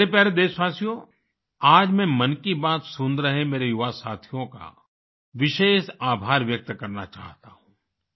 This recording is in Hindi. मेरे प्यारे देशवासियो आज मैं मन की बात सुन रहे मेरे युवा साथियों का विशेष आभार व्यक्त करना चाहता हूँ